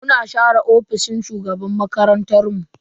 Muna share ofishin shugaban makarantan mu.